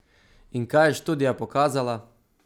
In kaj je študija pokazala?